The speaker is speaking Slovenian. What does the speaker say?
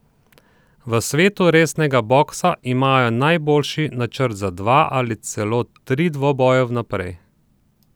V svetu resnega boksa imajo najboljši načrt za dva, ali celo tri dvoboje vnaprej.